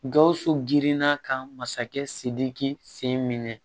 Gawusu girinna ka masakɛ sidiki sen minɛ